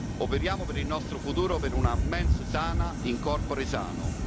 Operiamo per il nostro futuro per una mens sana in corpore sano